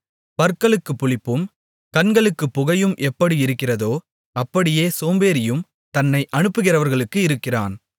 பற்களுக்கு புளிப்பும் கண்களுக்குப் புகையும் எப்படி இருக்கிறதோ அப்படியே சோம்பேறியும் தன்னை அனுப்புகிறவர்களுக்கு இருக்கிறான்